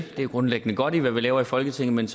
det er grundlæggende godt hvad vi laver i folketinget